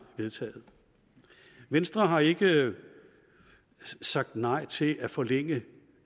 vedtaget venstre har ikke sagt nej til at forlænge